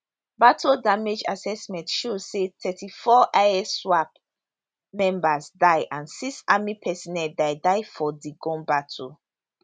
battle damage assessment show say 34 iswap members die and six army personel die die for di gun battle